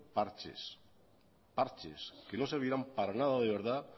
parches que no servirán para nada de verdad